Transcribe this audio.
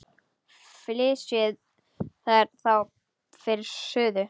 Flysjið þær þá fyrir suðu.